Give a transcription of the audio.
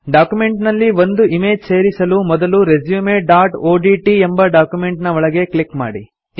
document ನಲ್ಲಿ ಒಂದು image ಸೇರಿಸಲು ಮೊದಲು resumeಒಡಿಟಿ ಎಂಬ ಡಾಕ್ಯುಮೆಂಟ್ ನ ಒಳಗೆ ಕ್ಲಿಕ್ ಮಾಡಿ